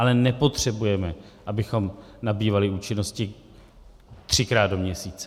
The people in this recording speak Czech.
Ale nepotřebujeme, abychom nabývali účinnosti třikrát do měsíce.